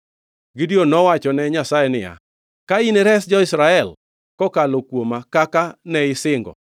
Gideon nowachone Nyasaye niya, “Ka inires jo-Israel kokalo kuoma kaka ne isingo,